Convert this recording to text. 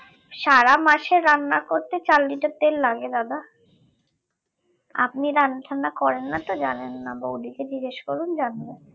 সারা মাসের রান্না করতে চার liter তেল লাগে দাদা আপনি রান্না টান্না করেন না তো জানেন না বৌদিকে জিজ্ঞেস করুন জানবে